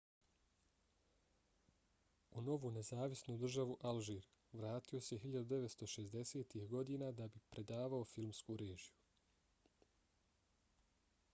u novu nezavisnu državu alžir vratio se 1960-ih godina da bi predavao filmsku režiju